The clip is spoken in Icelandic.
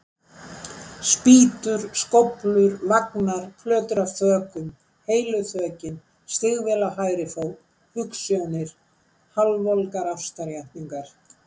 Spýtur, skóflur, vagnar, plötur af þökum, heilu þökin, stígvél á hægri fót, hugsjónir, hálfvolgar ástarjátningar.